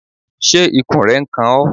Ṣé ikùn rẹ n kan ọ?